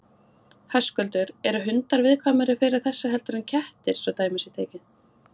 Höskuldur: Eru hundar viðkvæmari fyrir þessu heldur en kettir svo dæmi sé tekið?